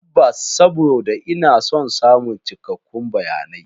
Tabbas, saboda ina son samun cikakkun bayanai.